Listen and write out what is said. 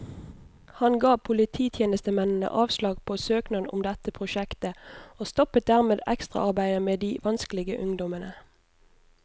Han ga polititjenestemennene avslag på søknad om dette prosjektet, og stoppet dermed ekstraarbeidet med de vanskelige ungdommene.